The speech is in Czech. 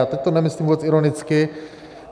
A teď to nemyslím vůbec ironicky.